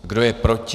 Kdo je proti?